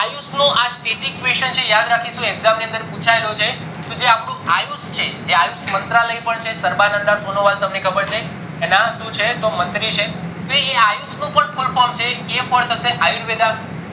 નું આ question છે યાદ રાખીશું exam ની અંદર પુચાયેલો છે જે અપ્ડું આયુષ છે જે આયુષ મંત્રાલય પણ છે તમને ખબર છે એના સુ છે મંત્રી છે આ આયુષ નું પણ full form છે a for ayurveda